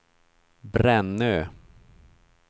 Brännö